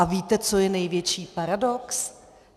A víte, co je největší paradox?